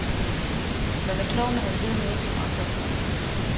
Man er klog, når man ved noget, som andre ikke ved.